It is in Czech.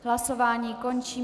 Hlasování končím.